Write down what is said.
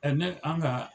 ne an ga